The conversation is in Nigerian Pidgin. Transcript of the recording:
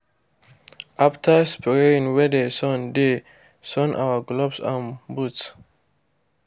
after spraying we dey sun dey sun our gloves and boots.